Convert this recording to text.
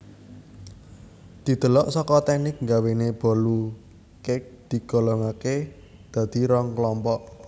Didelok saka teknik nggawéne bolu cake digolongakè dadi rong kelompok